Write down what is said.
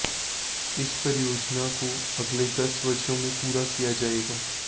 इस परियोजना को अगले दस वर्षो में पूरा किया जाएगा